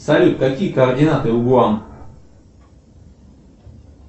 салют какие координаты у гоа